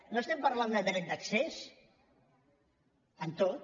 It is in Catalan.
no estem parlant de dret d’accés en tot